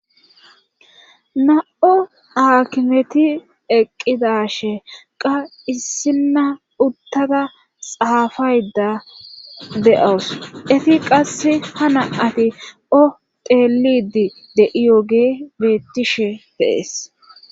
Na7o aakimeti eqqidashe qa issinna uttada xaafayda de7awus efi qasse ha na ati oteelidi de7iyoge beettishe deees.